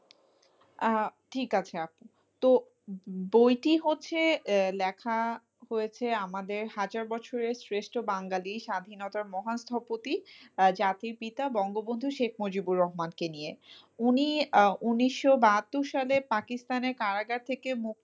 হয়েছে আমাদের হাজার বছরের শ্রেষ্ঠ বাঙালি স্বাধীনতার মহান স্থপতি জাতির পিতা বঙ্গবন্ধু শেখ মুজিবুর রহমানকে নিয়ে, উনি ঊনিশশো বাহাত্তর সালে পাকিস্তানের কারাগার থেকে মুক্ত,